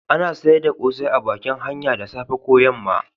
A na sayar da kosai a bakin hanya da safe ko yamma